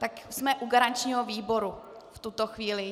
Tak jsme u garančního výboru v tuto chvíli.